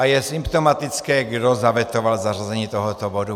A je symptomatické, kdo zavetoval zařazení tohoto bodu.